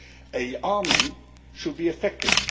An army should be effective.